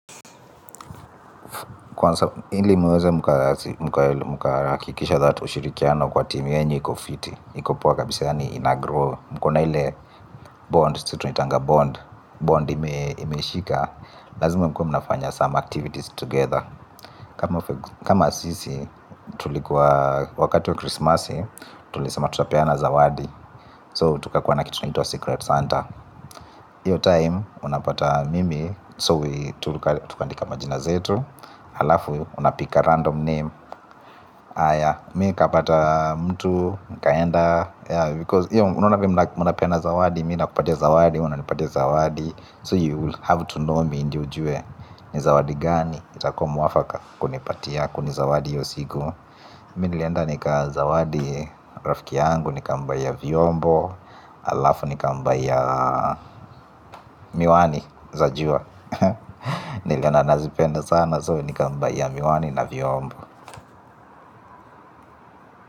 Kwanza hili muweze mkakikisha that ushirikiano kwa timu yenu iko fiti iko poa kabisa yaani inagrow. Mko na ile bond situniitanga bond Bond imeshika. Lazma mkue mnafanya some activities together. Kama sisi tulikuwa wakati ya krisimasi tulisema tutapeana zawadi So tukakuwa na kitu naiitwa Secret Santa. Iyo time unapata mimi So tukaandika majina zetu. Halafu, unapick a random name. Aya, mi nkapata mtu nkaenda Because, iyo, uaona venye mnapena zawadi mina kupatia zawadi, unapatia zawadi So you will have to know Me ndo ujue, ni zawadi gani itako mwafaka kunipatia kunizawadi hio siku. Mi nilienda nikazawadi rafiki yangu, nikambuyia viombo. Halafu, nikambuyia miwani, za jua. Niliona anazipenda sana so nikambuyia miwani na viombo.